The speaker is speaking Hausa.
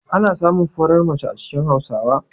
Ana samun farar mace a cikin Hausawa?